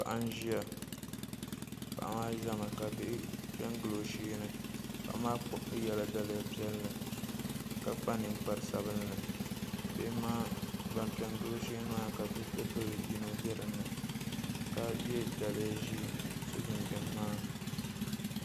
Paɣa n ʒɛya paɣa maa ʒɛmi ka bihi piɛ n gili o sheeni paɣa maa yɛla daliya piɛlli bihi maa ban piɛ n gili o sheeni maa ka bidib bili yino bɛ dinni ka yɛ daliya ʒiɛ ka so jinjɛm ŋmaa